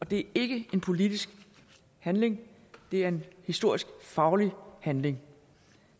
det er ikke en politisk handling det er en historisk faglig handling